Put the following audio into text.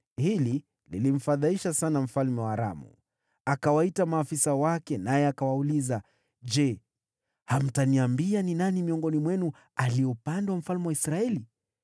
Hili lilimfadhaisha sana mfalme wa Aramu. Akawaita maafisa wake, akawauliza, “Je, hamtaniambia ni nani miongoni mwenu aliye upande wa mfalme wa Israeli?”